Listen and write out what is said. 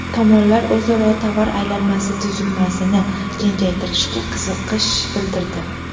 Tomonlar o‘zaro tovar aylanmasi tuzilmasini kengaytirishga qiziqish bildirdi.